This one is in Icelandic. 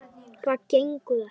Það gengur ekki!